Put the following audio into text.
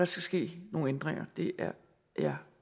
skal ske nogle ændringer det er jeg